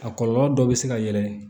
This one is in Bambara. A kɔlɔlɔ dɔ bɛ se ka yɛlɛ